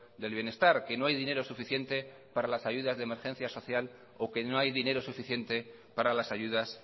del bienestar que no hay dinero suficiente para las ayudas de emergencia social o que no hay dinero suficiente para las ayudas